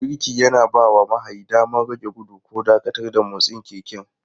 Birki yana bawa mahayi damar rage gudu ko dakatar da motsin keken.